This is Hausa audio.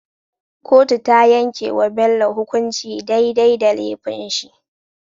Kotu tayan yake wa Bello hukunci dai dai da lefin shi